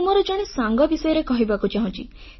ମୁଁ ମୋର ଜଣେ ସାଙ୍ଗ ବିଷୟରେ କହିବାକୁ ଚାହୁଁଛି